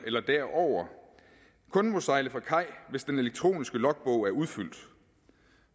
eller derover kun må sejle fra kaj hvis den elektroniske logbog er udfyldt